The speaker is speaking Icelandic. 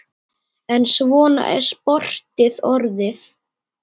En svona er sportið orðið.